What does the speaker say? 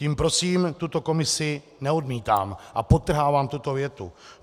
Tím prosím tuto komisi neodmítám - a podtrhávám tuto větu.